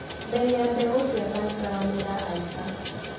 Mbei ya mbegũ cia sunflower nĩirahaica.